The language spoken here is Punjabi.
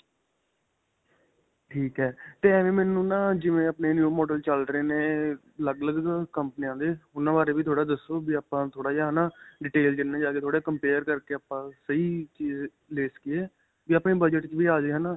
ਠੀਕ ਹੈ. ਤੇ ਏਵ੍ਵੇਂ ਮੈਨੂੰ ਨਾਂ ਜਿਵੇਂ ਆਪਣੇ new model ਚੱਲ ਰਹੇ ਨੇ ਅਅ ਅੱਲਗ-ਅੱਲਗ ਨਾ ਕੰਪਨੀਆਂ ਦੇ ਉਨ੍ਹਾਂ ਬਾਰੇ ਵੀ ਥੋੜਾ ਦੱਸੋ, ਵੀ ਆਪਾਂ ਥੋੜਾ ਜਿਹਾ ਹੈ ਨਾਂ detail 'ਚ ਇਨ੍ਹਾਂ ਜਾਦੇ ਥੋੜਾ ਜਾਂ compare ਕਰਕੇ ਆਪਾਂ ਸਹੀ ਚੀਜ਼ ਲੈ ਸਕੀਏ, ਵੀ ਆਪਣੇ ਬਜਟ ਵਿੱਚ ਵੀ ਆ ਜ਼ੇ ਹੈ ਨਾ.